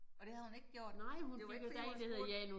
Og det havde hun ikke gjort? Det var ikke fordi hun spurgte